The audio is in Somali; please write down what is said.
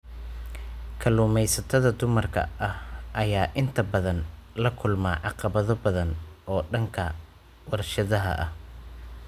Kalluumeysatada dumarka ah ayaa inta badan la kulma caqabado badan oo dhanka warshadaha ah.